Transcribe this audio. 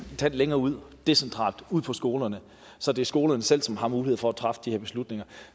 tand længere ud decentralt ud på skolerne så det er skolerne selv som har mulighed for at træffe de her beslutninger